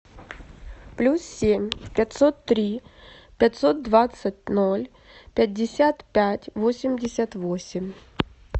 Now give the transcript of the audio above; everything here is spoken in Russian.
плюс семь пятьсот три пятьсот двадцать ноль пятьдесят пять восемьдесят восемь